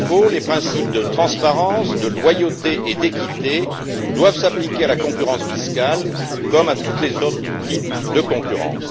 Les principes de transparence, de loyauté et d'équité doivent s'appliquer à la concurrence fiscale comme à tous les autres types de concurrence.